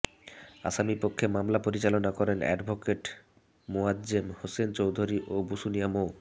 আসামী পক্ষে মামলা পরিচালনা করেন অ্যাডভোকেট মোয়াজ্জেম হোসেন চৌধুরী ও বসুনিয়া মো